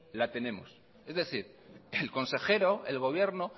la tenemos es decir el consejero el gobierno